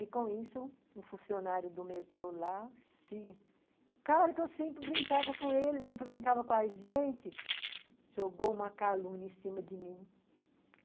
E, com isso, um funcionário do metrô lá se... O cara que eu sempre brincava com ele, sempre brincava com a gente, jogou uma calúnia em cima de mim.